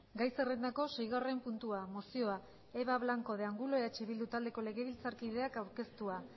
gai zerrendako seigarren puntua mozioa eva blanco de angulo eh bildu taldeko legebiltzarkideak aurkeztua